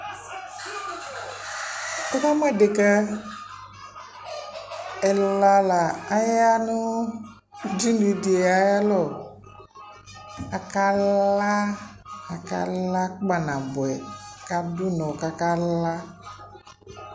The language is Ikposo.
Wʋ kaamʋ edeka ɛla la aya nʋ udunudɩ ayalɔ, aka laa, aka laa kpanabʋɛ, k'adʋ ʋnɔ k'aka la